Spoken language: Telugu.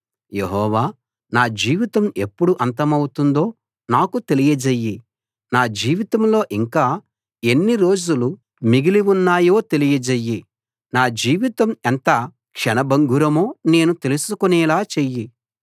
యెహోవా నా జీవితం ఎప్పుడు అంతమౌతుందో నాకు తెలియజెయ్యి నా జీవితంలో ఇంకా ఎన్ని రోజులు మిగిలి ఉన్నాయో తెలియజెయ్యి నా జీవితం ఎంత క్షణ భంగురమో నేను తెలుసుకునేలా చెయ్యి